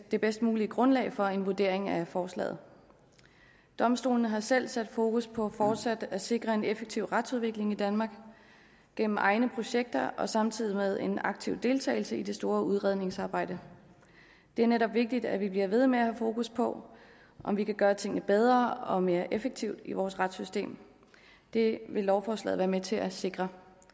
det bedst mulige grundlag for en vurdering af forslaget domstolene har selv sat fokus på fortsat at sikre en effektiv retsudvikling i danmark gennem egne projekter samtidig med en aktiv deltagelse i det store udredningsarbejde det er netop vigtigt at vi bliver ved med at have fokus på om vi kan gøre tingene bedre og mere effektivt i vores retssystem det vil lovforslaget være med til at sikre